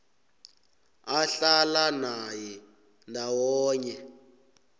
ahlala naye ndawonye